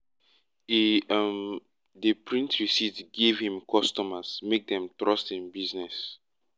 e um dey print receipt give him customers make dem trust him business